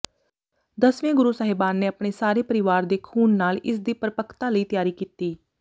ਦਸਵੇਂ ਗੁਰੂ ਸਾਹਿਬਾਨ ਨੇ ਆਪਣੇ ਸਾਰੇ ਪਰਵਾਰ ਦੇ ਖੂਨ ਨਾਲ ਇਸਦੀ ਪਰਪੱਕਤਾ ਲਈ ਤਰਾਈ ਕੀਤੀ